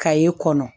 Ka ye kɔnɔ